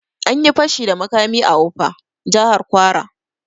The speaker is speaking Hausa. Anyi fashi da makami a ofa, Jahar kwara